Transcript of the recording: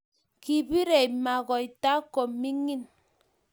Kibirei ma Kota komining